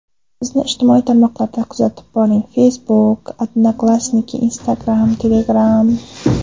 Bizni ijtimoiy tarmoqlarda kuzatib boring: Facebook , Odnoklassniki , Instagram , Telegram .